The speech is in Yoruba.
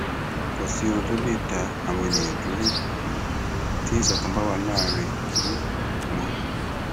kò sí ohun tó lè dá àwọn ènìyàn dúró um tí ìṣọkan bá ti wà láàrín um wọn